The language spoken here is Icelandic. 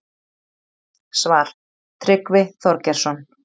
Svar: Tryggvi Þorgeirsson